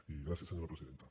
i gràcies senyora presidenta